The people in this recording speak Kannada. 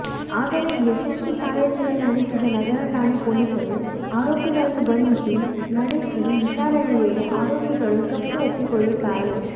ಆದರೆ ಯಶಸ್ವಿ ಕಾರ್ಯಾಚರಣೆ ನಡೆಸಿದ ನಗರ ಠಾಣೆ ಪೊಲೀಸರು ಆರೋಪಿಗಳನ್ನು ಬಂಧಿಸಿ ನಡೆಸಿ ವಿಚಾರಣೆ ವೇಳೆ ಆರೋಪಿಗಳು ತಪ್ಪು ಒಪ್ಪಿಕೊಳ್ಳುತ್ತಾರೆ